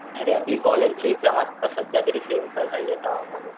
अरे आपली कॉलेजची एक्साम आत्ता सध्या तरी आता म्हणून,